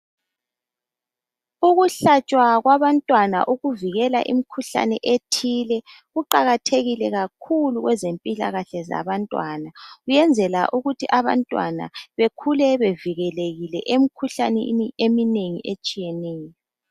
Ukuhlatshwa kwabantwana ukuvikela imikhuhlane ethile kuqakathekile kakhulu kwezempilakahle zabantwana kuyenzela ukuthi abantwana bekhule bevikelekile emikhuhlaneni eminengi etshiyeneyo.